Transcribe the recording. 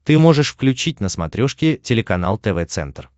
ты можешь включить на смотрешке телеканал тв центр